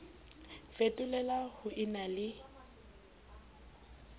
fetolela ho e na le